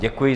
Děkuji.